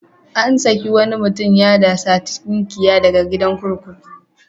An saki wani mutum ya da saci tunkiya daga gidan kurkuku.